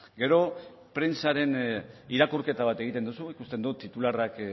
gero prentsaren irakurketa bat egiten duzu ikusten dut titularrak